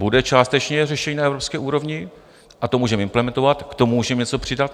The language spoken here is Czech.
Bude částečně řešení na evropské úrovni a to můžeme implementovat, k tomu můžeme něco přidat.